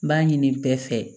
N b'a ɲini bɛɛ fɛ